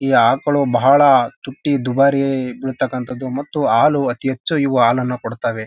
ಈ ಆಕಳು ಬಹಳ ತುಟ್ಟಿ ದುಬಾರಿ ಇರ್ತಕ್ಕಂತದ್ದು ಮತ್ತು ಹಾಲು ಅತಿ ಹೆಚ್ಚು ಇವು ಹಾಲನ್ನ ಕೊಡ್ತಾವೆ.